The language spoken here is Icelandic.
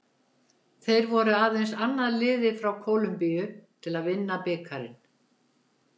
Þeir voru aðeins annað liðið frá Kólumbíu til að vinna bikarinn.